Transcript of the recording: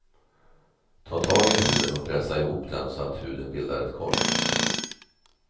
Ta tag i huden och pressa ihop den så att huden bildar ett kors.